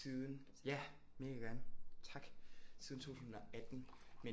Siden ja megagerne tak siden 2018 men